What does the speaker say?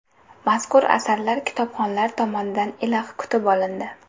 Mazkur asarlar kitobxonlar tomonidan iliq kutib olindi.